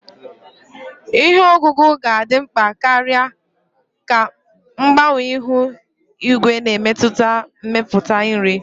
Ihe ọkụkụ ga-adị mkpa karịa ka mgbanwe ihu igwe na-emetụta mmepụta nri.